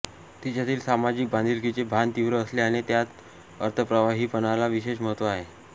तिच्यातील सामाजिक बांधिलकीचे भान तीव्र असल्याने त्यात अर्थप्रवाहीपणाला विशेष महत्त्व आहे